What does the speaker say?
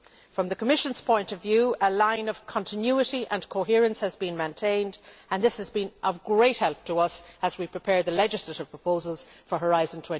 From the Commission's point of view, a line of continuity and coherence has been maintained and this has been of great help to us as we prepare the legislative proposals for Horizon